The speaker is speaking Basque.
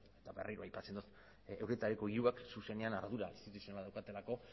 eta berriro aipatzen dut euretariko hirurak zuzenean ardura zuzena daukatelako